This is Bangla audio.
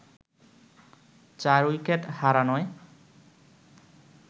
চার উইকেট হারানোয়